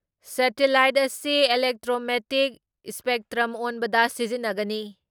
Satellite ꯑꯁꯤ electromagnetic spectrum ꯑꯣꯟꯕꯗ ꯁꯤꯖꯤꯟꯅꯒꯅꯤ ꯫